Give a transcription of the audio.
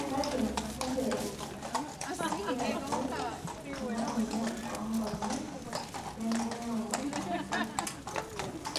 kake ore oshiake ena moyian oo nkonyek nemeayu emodoki.